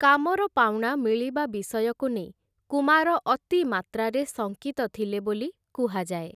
କାମର ପାଉଣା ମିଳିବା ବିଷୟକୁ ନେଇ କୁମାର ଅତି ମାତ୍ରାରେ ଶଙ୍କିତ ଥିଲେ ବୋଲି କୁହାଯାଏ ।